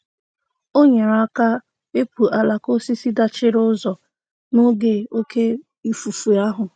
O nyere aka wepụ alaka osisi dachiri ụzọ n'oge oke ifufe ahụ.